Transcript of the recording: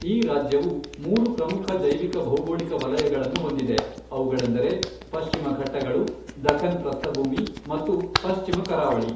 ಈ ರಾಜ್ಯವು ಮೂರು ಪ್ರಮುಖ ಜೈವಿಕ ಭೌಗೋಳಿಕ ವಲಯಗಳನ್ನು ಹೊಂದಿದೆ, ಅವುಗಳೆಂದರೆ ಪಶ್ಚಿಮ ಘಟ್ಟಗಳು, ದಕ್ಕನ್ ಪ್ರಸ್ಥಭೂಮಿ ಮತ್ತು ಪಶ್ಚಿಮ ಕರಾವಳಿ.